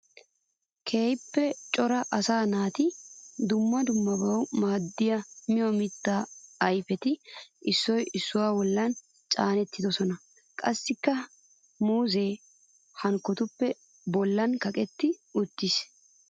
Keehippe cora asaa naata dumma dummabawu maadiya miyo mitta ayfetti issoy issuwa bolla caanettidosonna. Qassikka muuzze hankkotuppe bollan kaqqetti uttiis.